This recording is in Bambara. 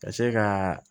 Ka se ka